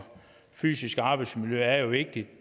fysiske arbejdsmiljø er jo vigtigt